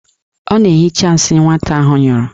Ọ na-ehicha nsị nwata ahụ nyụrụ.